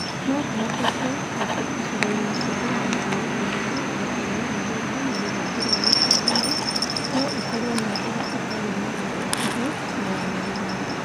No ku͂hoteke ati͂ icigoi-ini͂ cia ru͂gongo wa ithu͂i͂ro, ru͂gongo wa irathi͂ro na ru͂thanju rwa gi͂cu͂a-ini͂ , no ikoru͂o na mbura i͂tari͂ na ya hakuhi͂ na ya mu͂igana.